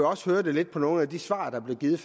også høre det lidt på nogle af de svar der blev givet